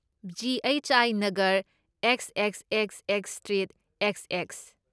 G. H. I. Nagar, X X X X street, X X.